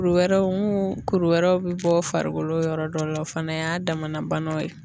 Kuru wɛrɛw mun kuru wɛrɛw bi bɔ farikolo yɔrɔ dɔ la o fana y'a damana banaw ye.